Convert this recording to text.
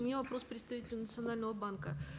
у меня вопрос к представителю национального банка